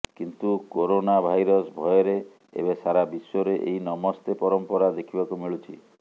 କିନ୍ତୁ corona virus ଭୟରେ ଏବେ ସାରାବିଶ୍ୱରେ ଏହି ନମସ୍ତେ ପରମ୍ପରା ଦେଖିବାକୁ ମିଳୁଛି